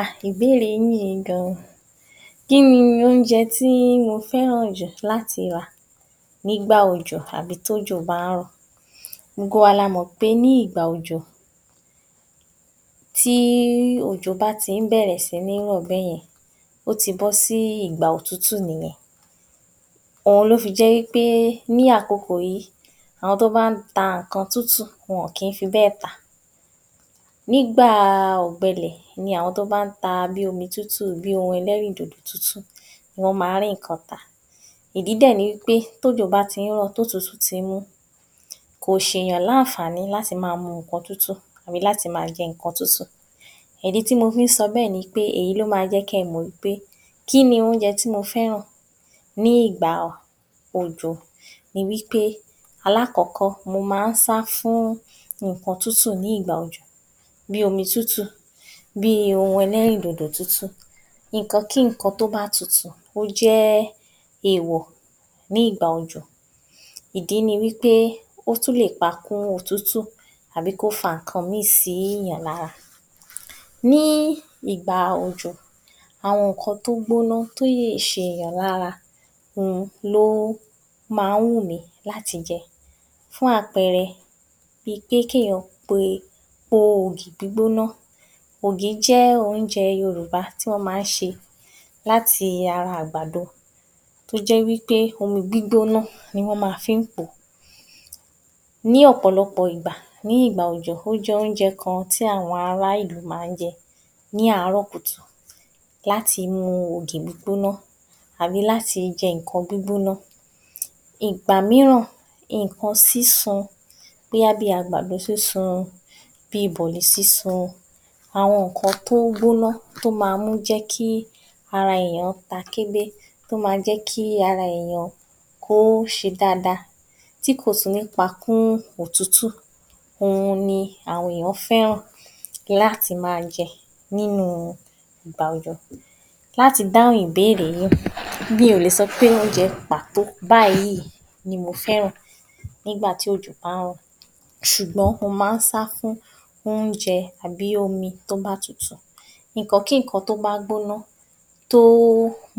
Ah! Ìbéèrè yín-ǐn gan. Kíni oúnjẹ tí mo fẹ́ràn jù láti rà nígbà òjò àbí tí òjò bá ń rọ̀? Gbogbo wa la mọ̀ pé ní ìgbà òjò, tí òjò bá ti ń bẹ̀rẹ̀ síní rọ̀ bẹ́yẹn, ó ti gbó sí ìgbà òtútù nìyẹn, òun ló fi jẹ́ wípé ní àkokò yí, àwọn tó má ń ta ǹkan tútù, wọn ò kín fi bẹ́ẹ̀ tà, nígbàa ọ̀gbẹlẹ̀ ni àwọn tó bá ń ta ǹkan tútù, bíi oun ẹlẹ́rìn dòdò tútù, wọ́n ma ń rí ǹkan tà, ìdí dẹ̀ ni wípé tí òjò bá ti ń rọ̀ tí òtútù tí ń mú, kò ṣe èyàn ní ànfàní láti ma mu omi tútù àbí láti ma jẹ ǹkan tútù. Ìdí tí mo fi ń sọ bẹ́ẹ̀ ni wípé èyí ló ma jẹ́ kí ẹ mọ̀ wípé kíni oúnjẹ tí mo fẹ́ràn ní ìgbà òjò ní wípé aláàkọ́kọ́ mo má ń sá fún ǹkan tútù ní ìgbà òjò, bíi omi tútù, bíi oun ẹlẹ́rìn dòdò tútù, ǹkan kí ǹkan tó bá tutù, ó jẹ́ èwọ̀ ní ìgbà òjò, ìdí ni wípé ó tún lè pa kún-un òtútù àbí kó fa ǹkan míì sí ǹkan lára, ní ìgbà òjò, àwọn ǹkan tó gbóná, tó lè ṣe èyàn lára ni ó ma ń wù mí láti jẹ, fún àpẹrẹ, bíi pé kí èyán pe, pọ ògì gbígbóná, ògì jẹ́ oúnjẹ Yorùbá tí wọ́n má ń ṣe láti ara àgbàdo, tó jẹ́ wípé omi gbígbóná ni wọ́n má fí ń pòó, ní ọ̀pọ̀lọpọ̀ ìgbà, ní ìgbà òjò, ó jẹ́ oúnjẹ kan tí àwọn ará ìlú má ń jẹ ní àárọ̀ kùtù, láti mu ògì gbígbóná àbí láti jẹ́ ǹkan gbígbóná. Ìgbà míràn ǹkan sísun bóyá bíi àgbàdo sísun, bíi bọ̀lì sísun, àwọn ǹkan tó gbóná tó ma ń jẹ́ kí ara èyán ta gélé, tó ma jẹ́ kí ara èyán ṣe dada, tí kò fi ní pa kún òtútù, òun ni àwọn èyán fẹ́ràn láti ma jẹ́ ní ìgbà òjò. Láti dáhùn ìbéèrè yín, mi ò lè sọpé oúnjẹ pàtó báyìí ni mo fẹ́ràn ní gbà tí òjò bá ń rọ̀ ṣùgbọ́n mọ má ń sá fún oúnjẹ àbí omi tó bá tutù, ǹkan kí ǹkan tó bá gbóná, tó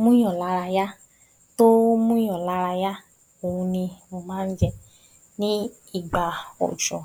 mú yàn lára yá, tó mú yàn lára yá, òun ni mo má ń jẹ ní ìgbà òjò